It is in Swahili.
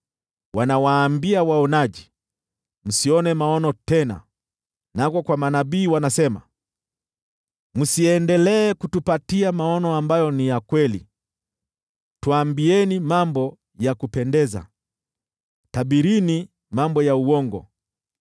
Wanawaambia waonaji, “Msione maono tena!” Nako kwa manabii wanasema, “Msiendelee kutupatia maono ambayo ni ya kweli! Tuambieni mambo ya kupendeza, tabirini mambo ya uongo.